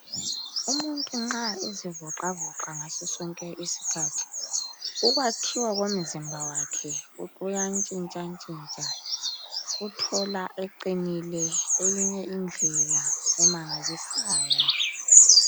Umuntu nxa ezivoxavoxa ngaso sonke isikhathi ukwakhiwa komzimba wakhe kuyantshintshantshintsha uthola eqinile eyinye indlela emangalisayo.